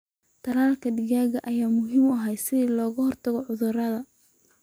Talaalka digaaga ayaa muhiim ah si looga hortago cudurada.